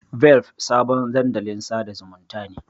Velp sabon dandalin sada zumunta ne.